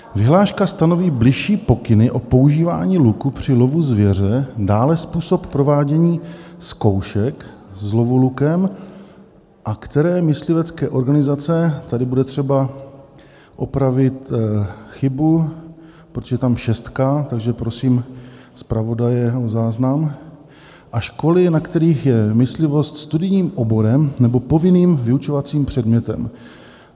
Vyhláška stanoví bližší pokyny o používání luku při lovu zvěře, dále způsob provádění zkoušek z lovu lukem a které myslivecké organizace" - tady bude třeba opravit chybu, protože je tam šestka, takže prosím zpravodaje o záznam - "a školy, na kterých je myslivost studijním oborem nebo povinným vyučovacím předmětem.